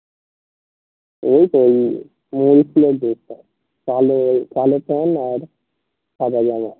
ওই তো ওই